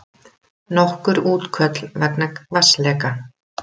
Nokkur útköll vegna vatnsleka